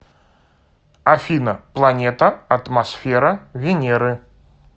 афина планета атмосфера венеры